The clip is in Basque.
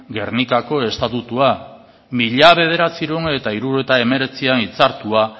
gernikako estatutua mila bederatziehun eta hirurogeita hemeretzian hitzartua